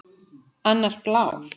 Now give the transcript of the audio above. Annar blár.